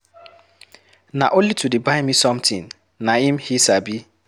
Na only to dey buy me something na im he Sabi.